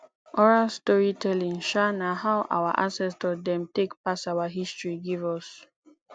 oral storytelling um na how our ancestor dem take pass our history give us